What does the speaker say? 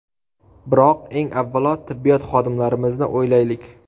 Biroq, eng avvalo, tibbiyot xodimlarimizni o‘ylaylik.